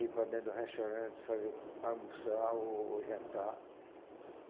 Ir para dentro do restaurante fazer almoçar o ou jantar.